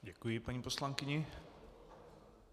Děkuji paní poslankyni.